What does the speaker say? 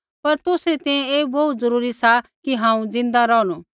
पर तुसरी तैंईंयैं ऐ बोहू जरूरी सा कि हांऊँ ज़िन्दा रौहणु